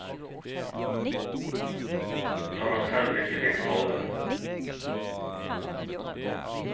Når han selv ikke fikk sove.